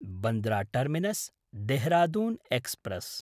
Bandra टर्मिनस्–देहरादून् express